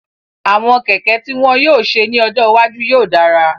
Àwọn kẹ̀kẹ́ tí wọ́n yóò ṣe ní ọjọ́ iwájú yóò dára